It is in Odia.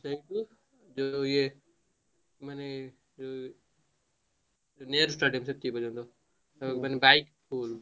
ସେଇଠି ଯୋଉ ଇଏ ମାନେ ଯୋଉ ନେହେରୁ stadium